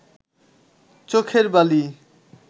চোখের বালি